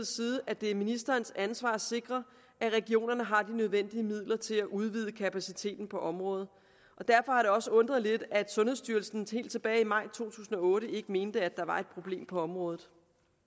side at det er ministerens ansvar at sikre at regionerne har de nødvendige midler til at udvide kapaciteten på området derfor har det også undret lidt at sundhedsstyrelsen helt tilbage i maj to tusind og otte ikke mente at der var et problem på området